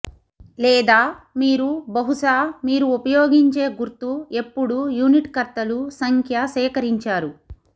లేదా మీరు బహుశా మీరు ఉపయోగించే గుర్తు ఎప్పుడూ యూనిట్కర్తలు సంఖ్య సేకరించారు